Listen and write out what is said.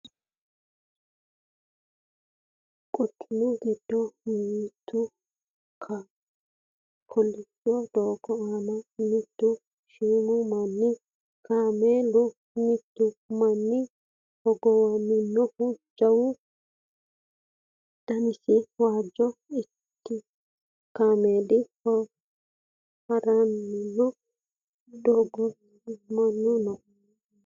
quchumu giddo noote kolishsho doogo aana mittu shiimu mini kameelinna mittu manna hogowannohu jawu danasi waajju kameeli haranni no badhensaanni minna no